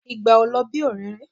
Ìgbà ò lọ bí òréré